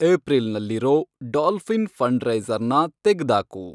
ಏಪ್ರಿಲ್ನಲ್ಲಿರೋ dolphin ಫಂಡ್ರೈಸರ್ನ ತೆಗ್ದಾಕು